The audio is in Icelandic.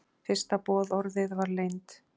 Fyrsta boðorðið var leynd.